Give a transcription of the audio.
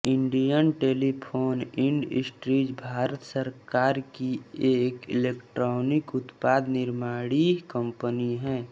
Indian telephone industries Bharat सरकार की एक इलेक्ट्रॉनिक उत्पाद निर्माणी कंपनी है